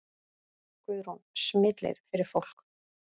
Guðrún: Smitleið fyrir fólk?